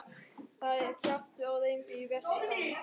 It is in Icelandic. Það er kjaftur á þeim fyrir vestan.